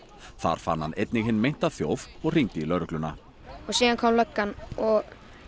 þar fann hann einnig hinn meinta þjóf og hringdi í lögregluna og síðan kom löggan og